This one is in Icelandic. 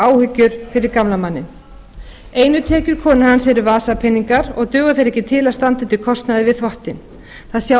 áhyggjur fyrir gamla manninn einu peningar konu hans eru vasapeningar og duga þeir ekki til að standa undir kostnaði við þvottinn það sjá